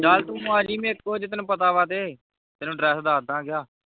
ਚਲ ਤੂੰ ਆ ਜਾਵੀਂ ਮੇਰੇ ਕੋਲ ਜੇ ਤੈਨੂੰ ਪਤਾ ਵਾਤੇ ਤੈਨੂੰ dress ਦੱਸ ਦਵਾਂਗਾ